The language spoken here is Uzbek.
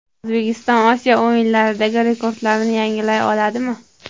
O‘zbekiston Osiyo o‘yinlaridagi rekordlarini yangilay oladimi?.